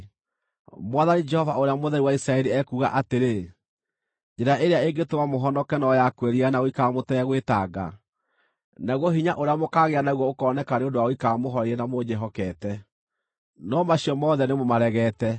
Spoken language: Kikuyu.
Mwathani Jehova Ũrĩa Mũtheru wa Isiraeli ekuuga atĩrĩ: “Njĩra ĩrĩa ĩngĩtũma mũhonoke no ya kwĩrira na gũikara mũtegwĩtanga, naguo hinya ũrĩa mũkaagĩa naguo ũkooneka nĩ ũndũ wa gũikara mũhooreire na kwĩhoka, no macio mothe nĩmũmaregete.